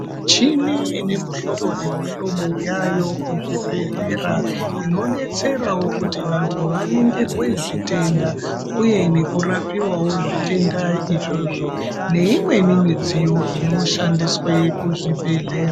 Michini ine muhlobo nemihlobo yaayo kuzvibhedhlera inodetserawo kuti vantu vaningirwe zvitenda uye nekurapiwawo zvitenda izvozvo neimweni midziyo inoshandiswe kuzvibhedhlera.